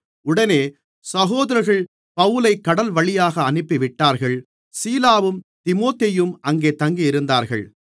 உடனே சகோதரர்கள் பவுலைக் கடல்வழியாக அனுப்பிவிட்டார்கள் சீலாவும் தீமோத்தேயுவும் அங்கே தங்கியிருந்தார்கள்